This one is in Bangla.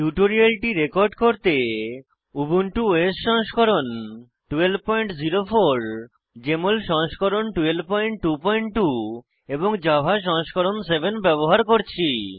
টিউটোরিয়ালটি রেকর্ড করতে উবুন্টু ওএস সংস্করণ 1204 জেএমএল সংস্করণ 1222 এবং জাভা সংস্করণ 7 ব্যবহার করছি